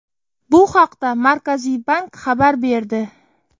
Bu haqda Markaziy bank xabar berdi .